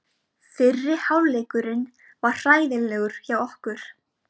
Fyrri hálfleikurinn var hræðilegur hjá okkur.